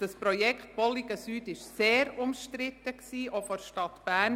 Das Projekt Bolligenstrasse Süd war sehr umstritten – auch vonseiten der Stadt Bern.